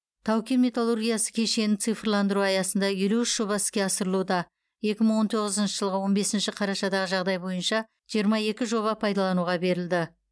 тау кен металлургиясы кешенін цифрландыру аясында елу үш жоба іске асырылуда екі мың он тоғызыншы жылғы он бесінші қарашадағы жағдай бойынша жиырма екі жоба пайдалануға берілді